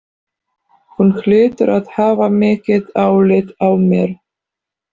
Hún hlýtur að hafa mikið álit á mér.